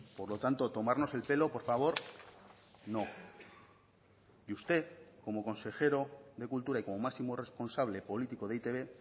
por lo tanto tomarnos el pelo por favor no y usted como consejero de cultura y como máximo responsable político de e i te be